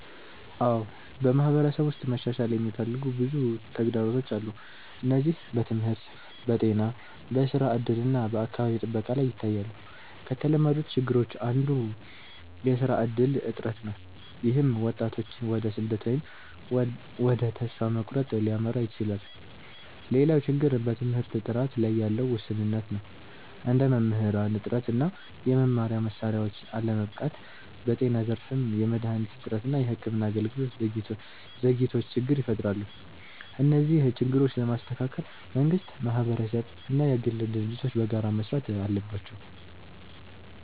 አዎ፣ በማህበረሰብ ውስጥ መሻሻል የሚፈልጉ ብዙ ተግዳሮቶች አሉ። እነዚህ በትምህርት፣ በጤና፣ በስራ እድል እና በአካባቢ ጥበቃ ላይ ይታያሉ። ከተለመዱት ችግሮች አንዱ የስራ እድል እጥረት ነው፣ ይህም ወጣቶችን ወደ ስደት ወይም ወደ ተስፋ መቁረጥ ሊያመራ ይችላል። ሌላው ችግር በትምህርት ጥራት ላይ ያለ ውስንነት ነው፣ እንደ መምህራን እጥረት እና የመማሪያ መሳሪያዎች አለመበቃት። በጤና ዘርፍም የመድሃኒት እጥረት እና የሕክምና አገልግሎት ዘግይቶች ችግር ይፈጥራሉ። እነዚህን ችግሮች ለመስተካከል መንግስት፣ ማህበረሰብ እና የግል ድርጅቶች በጋራ መስራት አለባቸው።